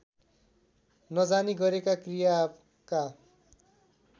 नजानी गरेका क्रियाका